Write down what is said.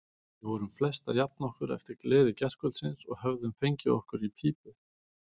Við vorum flest að jafna okkur eftir gleði gærkvöldsins og höfðum fengið okkur í pípu.